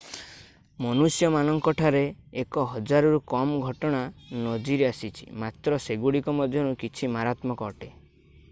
ମନୁଷ୍ୟମାନଙ୍କଠାରେ ଏକ ହଜାରରୁ କମ୍ ଘଟଣା ନଜିର ଆସିଛି ମାତ୍ର ସେଗୁଡ଼ିକ ମଧ୍ୟରୁ କିଛି ମାରାତ୍ମକ ଅଟେ